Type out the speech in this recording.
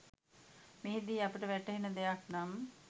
මෙහිදී අපට වැටහෙන දෙයක් නම්